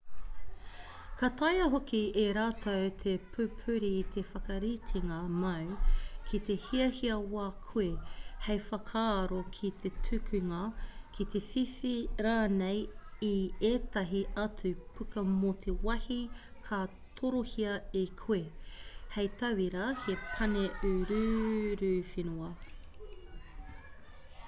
ka taea hoki e rātou te pupuri i te whakaritenga māu ki te hiahia wā koe hei whakaaro ki te tukunga ki te whiwhi rānei i ētahi atu puka mō te wāhi ka torohia e koe hei tauira he pane uruuruwhenua